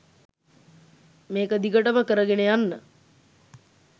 මේක දිගටම කරගෙන යන්න